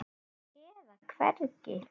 eða hvergi.